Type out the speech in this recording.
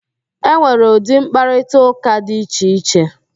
E nwere ụdị mkparịtaụ́ká di iche iche